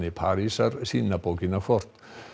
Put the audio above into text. Parísar sína bókina hvort